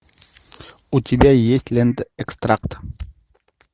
у тебя есть лента экстракт